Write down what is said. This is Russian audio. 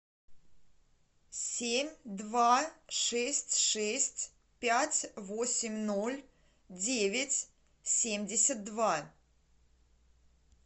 семь два шесть шесть пять восемь ноль девять семьдесят два